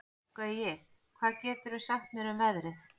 Gaui, hvað geturðu sagt mér um veðrið?